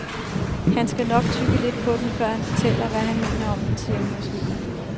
Han skal nok tygge lidt på den, før han fortæller, hvad han mener om den, siger hun og smiler.